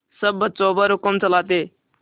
सब बच्चों पर हुक्म चलाते